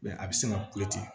a bɛ se ka